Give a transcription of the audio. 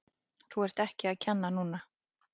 Þú ert ekki að kenna núna!